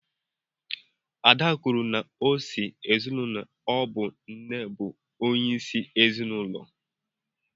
Ada kwuru na o si n’ezinụlọ ọ bụ nne bụ onye isi ezinụlọ